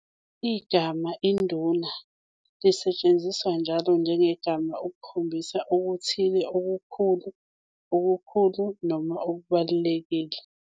Igama "Induna" lisetshenziswa njalo njengegama ukukhombisa okuthile okukhulu, "okukhulu", noma okubalulekile.